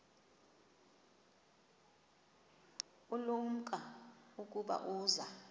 ulumko ukuba uza